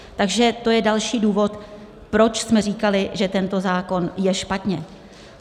Takže to je další důvod, proč jsme říkali, že tento zákon je špatně.